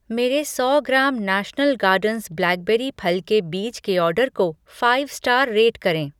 मेरे सौ gram national gardens blackberry फल के बीज के ऑर्डर को फ़ाइव स्टार रेट करें।